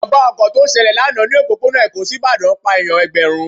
Ìjàmbá ọkọ̀ lọ ṣẹlẹ̀ lánàá ni òpópónà Èkó sí Ìbàdàn pá èèyàn Ẹ̀gbẹ̀rún.